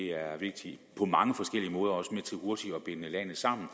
er vigtigt på mange forskellige måder og er også med til hurtigt at binde landet sammen